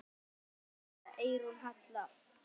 Kveðja, Eyrún Halla.